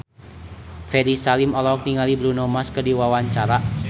Ferry Salim olohok ningali Bruno Mars keur diwawancara